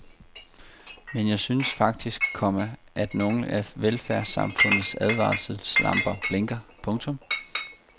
Men jeg synes faktisk, komma at nogle af velfærdssamfundets advarselslamper blinker. punktum